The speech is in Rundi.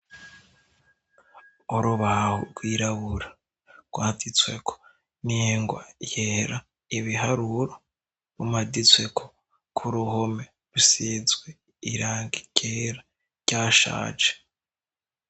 Urubaha rwirabura rwaditsweko ningwa yera ibiharuro bumaditsweko ko uruhome rusizwe iranga ikera rya shaje.